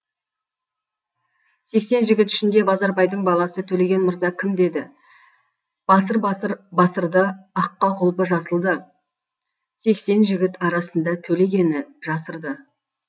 сексен жігіт ішінде базарбайдың баласы төлеген мырза кім деді басыр басыр басырды аққа құлпы жасылды сексен жігіт арасындатөлегені жасырды